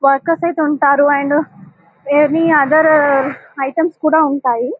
workers అయితే ఉంటారు and any other items కూడా ఉంటాయి --